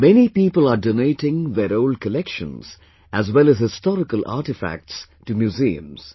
Many people are donating their old collections, as well as historical artefacts, to museums